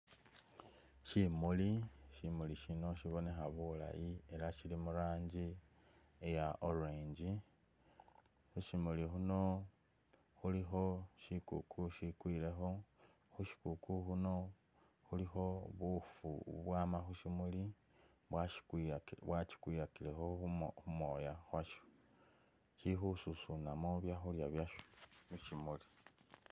Shumuli, Shimuli shino shibonekha bulayi ela shili murangi iya orange khushimuli khuno khulikho shikuku ishikwilekho, khushikuku ukhuno khulikho buufu bwana khushimuli bwashikwilakilekho khumo, kjumoya kasho shili khususunamo byakhulya byasho mushimuli.